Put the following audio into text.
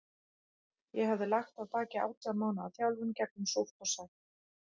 Ég hafði lagt að baki átján mánaða þjálfun gegnum súrt og sætt.